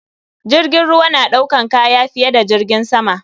Jirgin ruwa naɗaukan kaya fiye da jirgin sama.